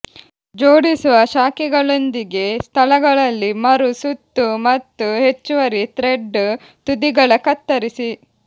ಜೋಡಿಸುವ ಶಾಖೆಗಳೊಂದಿಗೆ ಸ್ಥಳಗಳಲ್ಲಿ ಮರು ಸುತ್ತು ಮತ್ತು ಹೆಚ್ಚುವರಿ ಥ್ರೆಡ್ ತುದಿಗಳ ಕತ್ತರಿಸಿ